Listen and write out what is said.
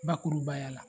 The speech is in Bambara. Bakurubaya la